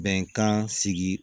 Bɛnkan sigi